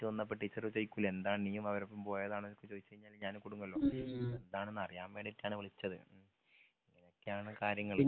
വന്നപ്പോ ടീച്ചറ് ചോയിക്കൂലെ എന്താ നീ അവരപ്പം പോയതാണ് ന്നൊക്കെ ചോയിച്ചയ്ഞ്ഞാല് ഞാനും കുടുങ്ങല്ലോ എന്താണെന്നറിയാൻ വേണ്ടീട്ടാണ് വിളിച്ചത് അങ്ങനെയൊക്കെയാണ് കാര്യങ്ങൾ